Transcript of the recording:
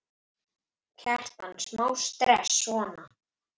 Kjartan: Smá stress, svona?